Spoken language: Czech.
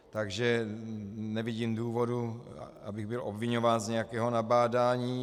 Takže nevidím důvodu, abych byl obviňován z nějakého nabádání.